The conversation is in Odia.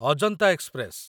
ଅଜନ୍ତା ଏକ୍ସପ୍ରେସ